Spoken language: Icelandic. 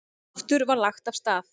Aftur var lagt af stað.